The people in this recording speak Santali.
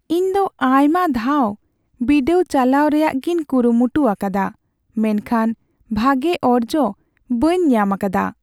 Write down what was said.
ᱤᱧ ᱫᱚ ᱟᱭᱢᱟ ᱫᱷᱟᱣ ᱵᱤᱰᱟᱹᱣ ᱪᱟᱞᱟᱣ ᱨᱮᱭᱟᱜᱤᱧ ᱠᱩᱨᱩᱢᱩᱴᱩ ᱟᱠᱟᱫᱟ ᱢᱮᱱᱠᱷᱟᱱ ᱵᱷᱟᱜᱮ ᱚᱨᱡᱚ ᱵᱟᱹᱧ ᱧᱟᱢᱟᱠᱟᱫᱟ ᱾